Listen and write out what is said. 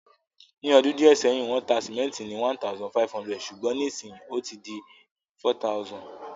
Ní odún díẹ̀ sẹ́hìn, wón ta cement ni #1,500 sùgbón nísinsíyì ó ti di #4000